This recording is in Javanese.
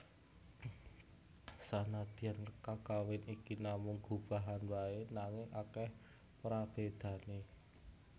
Sanadyan kakawin iki namung gubahan waé nanging akèh prabédané